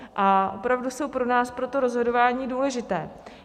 A opravdu jsou pro nás pro to rozhodování důležité.